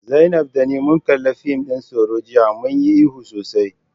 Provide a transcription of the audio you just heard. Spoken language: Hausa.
Zainab da ni mun kalli fim din tsoro jiya, mun yi ihu sosai.